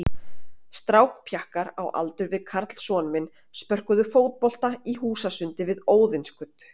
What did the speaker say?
Strákpjakkar á aldur við Karl son minn spörkuðu fótbolta í húsasundi við Óðinsgötu.